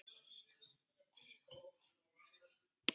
Takk, elsku mamma.